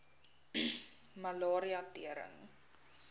malaria tering